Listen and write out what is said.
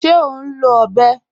Ṣé o n lọ ọ̀bẹ̀?